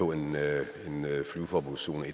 kan lade